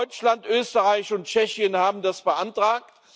Deutschland, Österreich und Tschechien haben das beantragt.